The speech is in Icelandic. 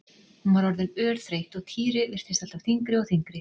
Hún var orðin örþreytt og Týri virtist alltaf þyngri og þyngri.